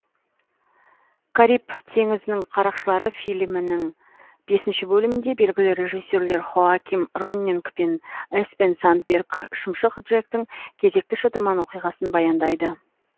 кариб теңізінің қарақшылары фильмінің бесінші бөлімінде белгілі режиссерлер хоаким роннинг пен эспен сандберг шымшық джектің кезекті шытырман оқиғасын баяндайды